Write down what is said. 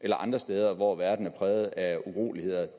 eller andre steder hvor verden er præget af uroligheder